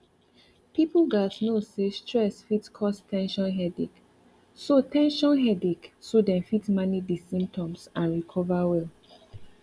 people gatz know say stress fit cause ten sion headache so ten sion headache so dem fit manage di symptoms and recover well